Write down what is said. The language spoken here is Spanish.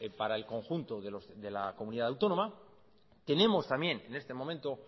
para el conjunto de la comunidad autónoma tenemos también en este momento